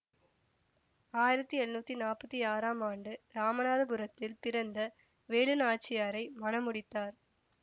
ஆயிரத்தி எழுநூத்தி நாப்பத்தி ஆறா ம் ஆண்டு ராமநாதபுரத்தில் பிறந்த வேலு நாச்சியாரை மணமுடித்தார்